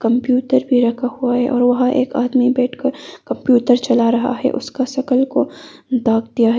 Computer भी रखा हुआ है और वहां एक आदमी बैठकर कंप्यूटर चला रहा है उसका शक्ल को ढक दिया गया है।